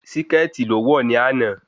Síkẹ̀tì lo wọ̀ ní àná